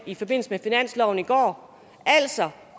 i forbindelse med finansloven i går altså